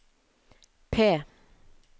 P